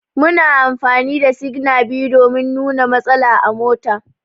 Muna amfani da signa biyu domin nuna matsala a mota.